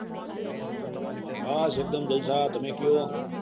બસ એક દમ જલસા તમે કયો